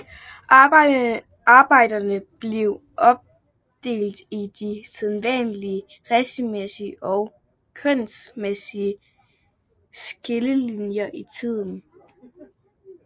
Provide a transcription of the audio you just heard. Arbejderne blev opdelt i de sædvanlige racemæssige og kønsmæssige skillelinjer i tiden